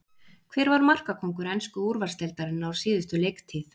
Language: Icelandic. Hver var markakóngur ensku úrvalsdeildarinnar á síðustu leiktíð?